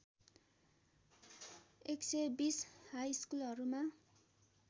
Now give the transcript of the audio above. १२० high स्कुलहरूमा